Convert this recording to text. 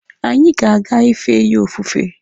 Anyị ga-aga ife ya ofufe.